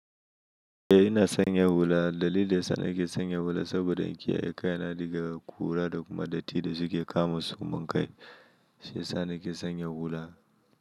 Eh ina sanya hula. Dalilin ya sa nake sanya hula saboda in kiyaye kaina daga ƙura da kuma datti da suke kama su. Mun kai shiyasa nake sanya hula.